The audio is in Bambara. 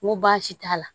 N ko baasi t'a la